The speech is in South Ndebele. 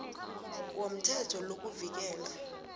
womthetho lo kuvikela